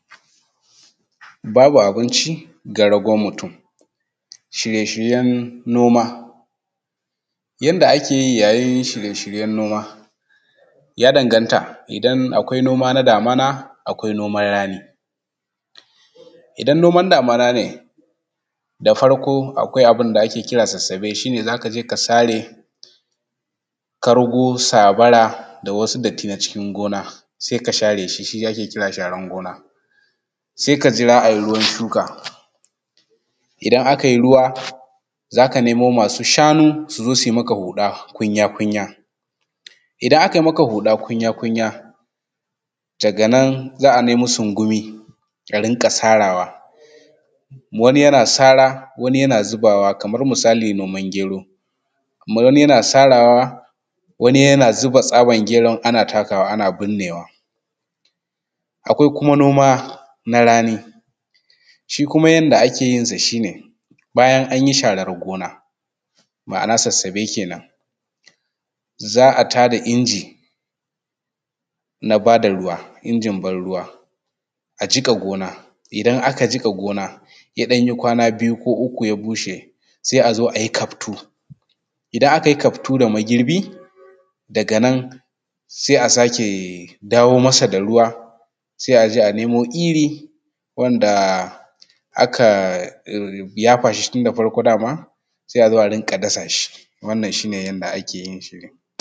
Babu abinci ga ragon mutum. Shirye-shiryen noma yanda ake yi yayin shirye-shiryen noma ya danganta idan akwai noma na damuna akwai noman rani. Idan noman damuna ne da farko akwai abin da ake kira sassabe, shi ne zaka je ka sare kargo, basabara, da wasu datti na cikin gona sai ka share shi, shi ake kira sharar gona, sai ka jira a yi ruwan shuka. Idan aka yi ruwa, za ka nemo masu shanu su zo zu yi maka huɗa kunya-kunya. Idan aka yi maka huɗa kunya-kunya daga nan za a nemo sungumi a rinƙa sarawa, wani yana sara wani yana zubawa kamar misali noman gero, kamar misali noman gero, wani ya na sarawa wani yana zuba tsabar geron ana takawa ana burnewa. Akwai kuma noma na rani, shi kuma yanda ake yin sa shi ne bayan an yi sharar gona, ma’ana sassabe kenan. Za a tada inji na bada ruwa injin ban ruwa a jiƙa gona, idan aka jiƙa gona ya ɗan yi kwana biyu ko uku ya bushe sai a zo a yi kaftu, idan aka yi kaftu da magirbi daga nan sai a sake dawo masa da ruwa sai a je a nemo iri wanda aka yafa shi tunda farko daman sai a zo a rinƙa dasa shi wannan shi ne yanda ake dasa shi.